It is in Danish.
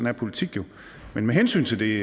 er politik jo men med hensyn til